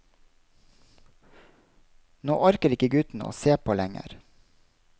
Nå orker ikke gutten å se på lenger.